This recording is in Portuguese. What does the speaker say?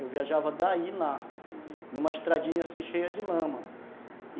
Eu viajava daí e lá, uhum, numa estradinha assim cheia de lama.